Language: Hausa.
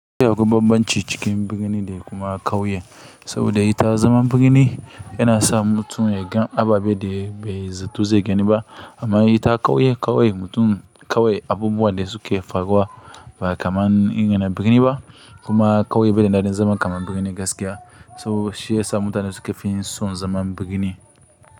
Yana da bambanci cikin birni da kuma ƙauye, saboda ita zaman birni yana sa mutum ya gan ababe da bai zato zai gani ba, amma ita ƙauye, ƙauye mutum ƙauye abubuwan da suke faruwa ba kaman in yana birni ba, kuma ƙauye bai da daɗin zama kaman birni gaskiya, to shi ya sa mutanen suke fin son zaman birni.